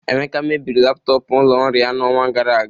Emeka mebiri laptọọpụ ụlọ ọrụ ya n'ọnwa gara aga.